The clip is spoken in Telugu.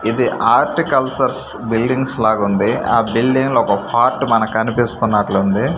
ఇది ఆర్టికల్చర్స్ బిల్డింగ్స్ లాగా ఉంది ఆ బిల్డింగ్ లో ఒక పార్ట్ మనకు కనిపిస్తున్నట్లుంది.